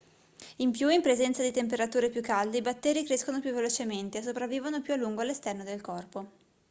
in più in presenza di temperature più calde i batteri crescono più velocemente e sopravvivono più a lungo all'esterno del corpo